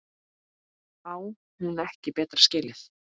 Á hún ekki betra skilið?